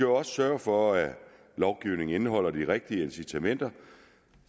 også sørge for at lovgivningen indeholder de rigtige incitamenter